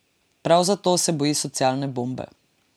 Prav zato se boji socialne bombe.